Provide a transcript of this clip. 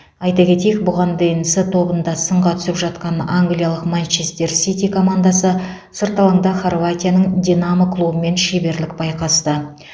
айта кетейік бұған дейін с тобында сынға түсіп жатқан англияның манчестер сити командасы сырт алаңда хорватияның динамо клубымен шеберлік байқасты